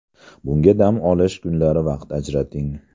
Bunga dam olish kunlari vaqt ajrating.